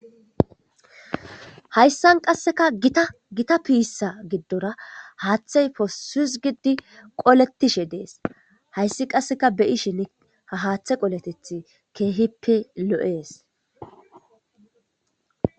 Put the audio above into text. Hayssan qasseka gita gita pissa gidorra haththey posss hizgid qoletishe dees hayssi qasseka beyishin ha haththe qoletethi kehhippe lo7es.